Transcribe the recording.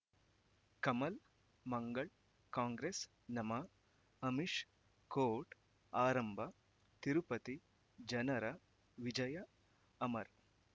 ಕಮಲ್ ಮಂಗಳ್ ಕಾಂಗ್ರೆಸ್ ನಮಃ ಅಮಿಷ್ ಕೋರ್ಟ್ ಆರಂಭ ತಿರುಪತಿ ಜನರ ವಿಜಯ ಅಮರ್